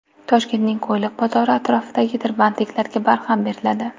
Toshkentning Qo‘yliq bozori atrofidagi tirbandliklarga barham beriladi.